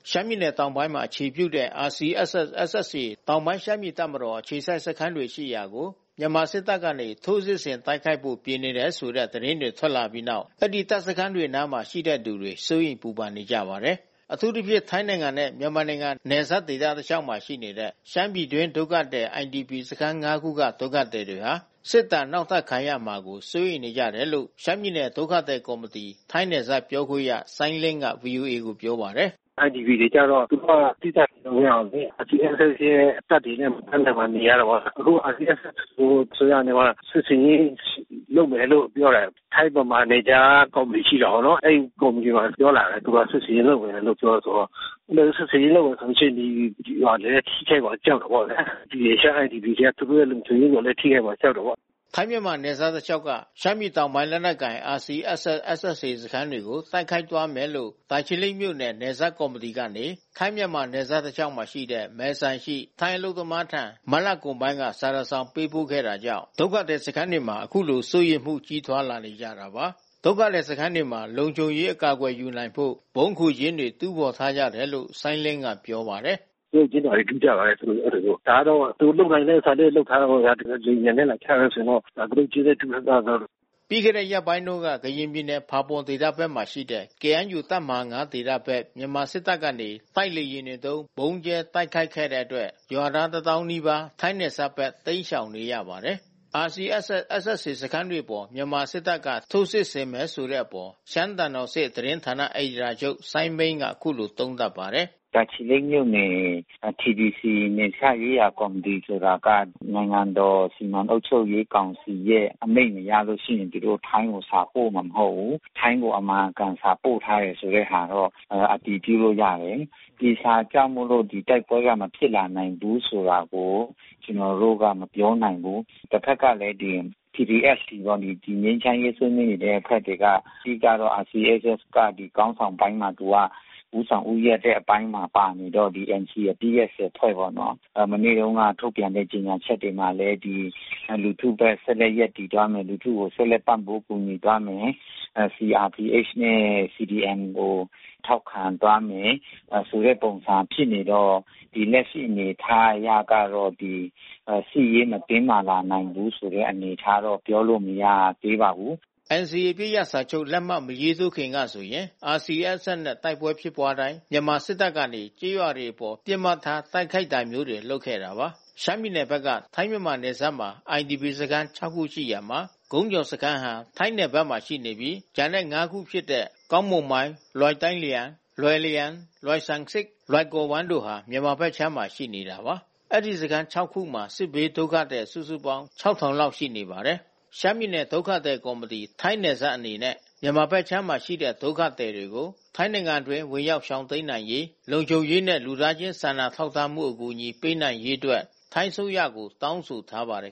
ရှမ်းပြည်နယ်တောင်ပိုင်းမှာ အခြေပြုတဲ့ RCSS/SSA တောင်ပိုင်း ရှမ်းပြည်တပ်မတော် အခြေစိုက်စခန်းတွေရှိရာကို မြန်မာစစ်တပ်ကနေ ထိုးစစ်ဆင်တိုက်ခိုက်ဖို့ ပြင်နေတယ်ဆိုတဲ့ သတင်းတွေ ထွက်လာခဲ့ပြီးနောက် အဲဒီတပ်စခန်းတွေနားမှာ ရှိနေသူတွေ စိုးရိမ် ပူပန်နေကြပါတယ်။ အထူးသဖြင့် ထိုင်းနိုင်ငံနဲ့ မြန်မာနိုင်ငံ နယ်စပ်ဒေသတလေ ျှာက်မှာ ရှိနေတဲ့ ရှမ်းပြည်တွင်း ဒုက္ခသည် IDP စခန်း ၅ ခုက ဒုက္ခသည်တွေဟာ စစ်ဒဏ်နောက်ထပ်ခံရမှာကို စိုးရိမ်နေကြတယ်လို့ ရှမ်းပြည်နယ် ဒုက္ခသည်ကော်မတီ ပြောခွင့်ရ စိုင်းလင်းက ဗွီအိုအေကိုပြောပါတယ်။ “IDP တွေကျတော့ သူတို့သီးသန့်နေလို့ မရဘူးလေ။ RCSS ရဲ့ တပ်တွေရဲ့အလယ်မှာနေရတာပေါ့။ အခု RCSS ကို အစိုးရက စစ်ဆင်ရေး လုပ်မယ်လို့ ပြောတယ်။ ထိုင်းဗမာနယ်ခြားကော်မတီရှိတာပေါ့နော်။ အဲဒီကော်မတီမှာပြောလာတယ်။ ဗမာစစ်ဆင်ရေးလုပ်မယ်လို့ပြောတယ်သူတို့။ စစ်ဆင်ရေးလုပ်မယ်ဆိုရင် ရွာတွေကို ထိခိုက်မှာကြောက်တယ်ပေါ့။ ရှမ်း IDP တွေက သူတို့ရဲ့လုံခြုံရေးကို ထိခိုက်မှာလည်း ကြောက်တယ်ပေါ့။” ထိုင်း မြန်မာနယ်စပ်တလေ ျှာက်က ရှမ်းပြည်တောင်ပိုင်း လက်နက်ကိုင် RCSS/SSA စခန်းတွေကို တိုက်ခိုက်သွားမယ်လို့ တာချီလိတ်မြို့နယ် နယ်စပ်ကော်မတီကနေ ထိုင်း - မြန်မာနယ်စပ်တစ်လျှောက်ရှိ Maesai ရှိ ထိုင်းအလုပ်သမားထံ မတ်လကုန်ပိုင်းက စာတစ် စောင်ပေးပို့ခဲ့တာကြောင့် ဒုက္ခသည်စခန်းတွေမှာ ခုလိုစိုးရိမ်မှု ကြီးထွားနေကြတာပါ။ ဒုက္ခသည်စခန်းတွေမှာ လုံခြုံရေး အကာအကွယ်ယူနိုင်ဖို့ ဗုံးခိုကျင်းတွေ တူးဖော်ထားကြတယ်လို့ စိုင်းလင်းကပြောပါတယ်။ “ကတုတ်ကျင်းတွေ တူးကြပါတယ် အဲဒီလိုမျိုး။ ဒါကတော့သူတို့ လုပ်နိုင်တာမျိုး လုပ်ထားတာပေါ့ဗျာ။ သူတို့လေယာဉ်ပျံနဲ့ လာချမယ် ဆိုရင်တော့ ကတုတ်ကျင်းနဲ့ တူးထားကြရင်တော့။” ပြီးခဲ့တဲ့ရက်ပိုင်းတွေက ကရင်ပြည်နယ် ဖာပွန်ဒေသဘက်မှာ ရှိတဲ့ KNUတပ်မဟာ ဒေသဘက် မြန်မာစစ်တပ်ကနေ တိုက်လေယာဉ်တွေသုံး ဗုံးကြဲတိုက်ခိုက်ခဲ့တဲ့အတွက် ရွာသား ၁၀,၀၀၀ နီးပါး ထိုင်းနယ်စပ်ဘက်တိမ်းရှောင်နေရပါတယ်။ RCSS / SSA စခန်းတွေအပေါ် မြန်မာစစ်တပ်က ထိုးစစ်ဆင်မယ်ဆိုတဲ့အပေါ် ရှမ်းသံတော်ဆင့် သတင်းဌာနအယ်ဒီတာချုပ်စိုင်းမိန်းက အခုလို သုံးသပ်ပါတယ်။ “တာချီလိတ်မြို့နယ် TBC နယ်စပ်ရေးရာကော်မတီဆိုတာက နိုင်ငံတော်စီမံအုပ်ချုပ်ရေးကောင်စီရဲ့အမိန့်မရလို့ရှိရင် သူတို့ထိုင်းကို စာပို့မှာ မဟုတ်ဘူး။ ထိုင်းကို အမှန်အကန်စာပို့ထားတယ်ဆိုတဲ့ဟာတော့ အတည်ပြုလို့ရတယ်။ ဒီဟာကြောင့်မို့လို့ တိုက်ပွဲက မဖြစ် လာနိုင်ဘူးဆိုတာကို ကျနော်တို့က မပြောနိုင်ဘူး။ တဘက်ကလည်း PPST ကနေ ငြိမ်းချမ်းရေးဆွေးနွေးနေတဲ့အဖွဲ့တွေက အဓိကတော့ RCSS က ခေါင်းဆောင်တိုင်းမှာက ဦးဆောင်ဦးရွက်တဲ့ အပိုင်းမှာပါနေတော့ ဒီ NCA အပစ်ရပ် ၁၀ ဖွဲ့ပေါ့နော် ။ မနေ့တုန်းက ထုတ်ပြန်တဲ့ကြေညာချက်တွေမှာလည်း လူထုဘက်ဆက်လက်ရပ်တည်သွားမယ်။ လူထုကိုဆက်လက်ပံ့ပိုးကူညီသွားမယ်။ CRPH နဲ့ CDM ကို ထောက်ခံသွားမယ်ဆိုတဲ့ ပုံစံဖြစ်နေတော့ ဒီလက်ရှိ အနေအထားအရကတော့ စစ်ရေး မတင်းမာလာနိုင်ဘူးဆိုတဲ့ အနေအထားတော့ ပြောလို့မရသေးပါဘူး။” NCA အပစ်ရပ်စာချုပ်လက်မှတ်မရေးထိုးခင်ကဆိုရင် RCSS နဲ့ တိုက်ပွဲဖြစ်ပွါးတိုင်း မြန်မာစစ်တပ်ကနေ ကျေးရွာတွေအပေါ် ပစ်မှတ်ထားတိုက်ခိုက်တာမျိုးတွေ လုပ်ခဲ့တာပါ။ ရှမ်းပြည်နယ်ဘက်က ထိုင်းမြန်မာနယ်စပ်မှာ IDP စခန်း ၆ ခုရှိရာမှာ ကုန်းကျော်စခန်းဟာ ထိုင်းနယ်ဘက်မှာရှိနေပြီး ကျန်တဲ့ ၅ ခုဖြစ်တဲ့ ကောင်း၊ မုန်မိုင်း၊ လွိုင်တိုင်းလျှဲန်၊ လွိုင်လျန်၊ လွိုင်ဆမ်ဆစ်၊ လွိုင်ကော်ဝမ်းတို့ဟာ မြန်မာဘက်ခြမ်းမှာ ရှိနေတာပါ။ ဒီစခန်း ၆ ခုမှာ စစ်ဘေးဒုက္ခသည် စုစုပေါင်း ၆,၀၀၀ လောက်ရှိပါတယ်။ ရှမ်းပြည်နယ်ဒုက္ခသည်ကော်မတီ အနေနဲ့ မြန်မာဘက်ခြမ်းမှာရှိတဲ့ ရှမ်းဒုက္ခသည်တွေကို ထိုင်းနိုင်ငံအတွင်း ဝင်ရောက် ရှောင်တိမ်းနိုင်ရေး လုံခြုံရေးနဲ့ လူသားချင်းစာနာထောက်ထားမှု အကူအညီပေးနိုင်ရေးအတွက် ထိုင်းအစိုးရကို တောင်းဆိုထားပါတယ်